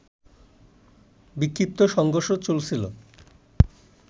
বিক্ষিপ্ত সংঘর্ষ চলছিল